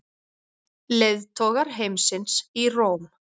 Leiðtogar heimsins í Róm